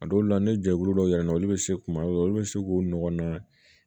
A dɔw la ni jɛkulu dɔw yɛlɛla olu bɛ se kuma dɔw la olu bɛ se k'u ɲɔgɔnna